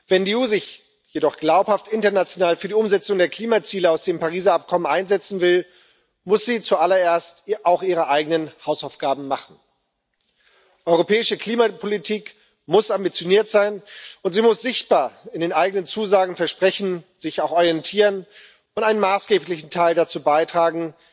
Wenn die EU sich jedoch glaubhaft international für die Umsetzung der Klimaziele aus dem Übereinkommen von Paris einsetzen will, muss sie zuallererst auch ihre eigenen Hausaufgaben machen. Europäische Klimapolitik muss ambitioniert sein, und sie muss sich auch sichtbar an den eigenen Zusagen und Versprechen orientieren und einen maßgeblichen Teil dazu beitragen,